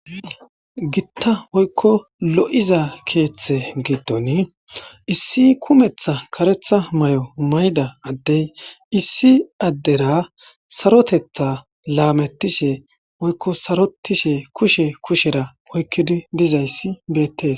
gitta woykko lo7iza keeththe giddon issi kumetha karetha may7o mayda addey issi addera sarotetha laamettishe woykko sarotishe kushe kushera oykkidi dizayssi bettes.